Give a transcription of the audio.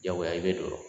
Jagoya i bɛ dɔ sɔrɔ